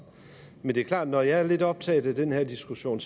men det er klart at når jeg er lidt optaget af den her diskussion